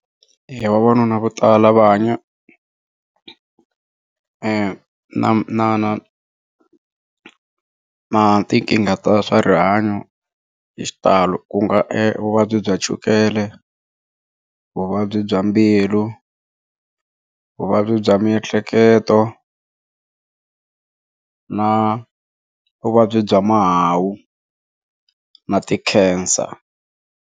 Vavanuna vo tala va hanya na na na na tinkingha ta swa rihanyo hi xitalo ku nga vuvabyi bya chukele vuvabyi bya mbilu vuvabyi bya miehleketo na vuvabyi bya mahawu na ti cancer.